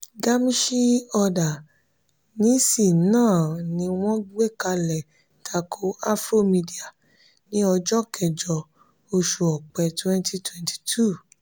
gamishee order nisi náà ni wọ́n gbekalẹ tako afromedia ní ọjọ kẹjọ oṣù ọpẹ 2022.